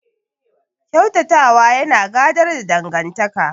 Ƙyautata wa yana gadar da dangantaka.